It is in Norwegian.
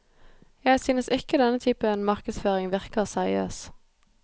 Jeg synes ikke denne typen markedsføring virker seriøs.